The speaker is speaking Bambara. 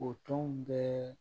O tɔnw bɛɛ